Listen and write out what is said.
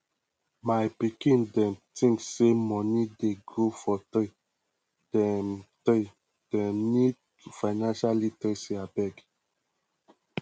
my pikin dem tink sey moni dey grow for tree dem tree dem need financial literacy abeg